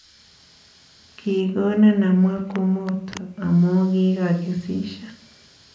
Kigonon amwaa kumoto amu kigagisisyo